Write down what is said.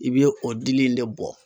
I bɛ o dili in de bɔ.